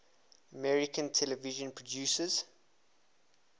american television producers